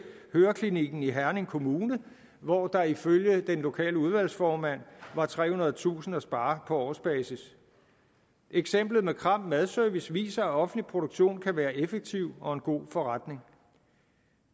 høreklinikken i herning kommune hvor der ifølge den lokale udvalgsformand var trehundredetusind kroner at spare på årsbasis og eksemplet med kram madservice as viser at offentlig produktion kan være en effektiv og god forretning